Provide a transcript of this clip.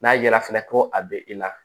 N'a ye yalafinɛ ko a bɛ i la